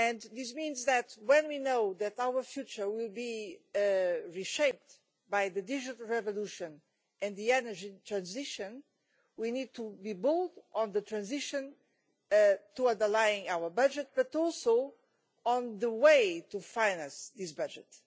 This means that, if we know that our future will be reshaped by the digital revolution and the energy transition, we need to be bold on the transition towards aligning our budget but also on the way to finance this budget.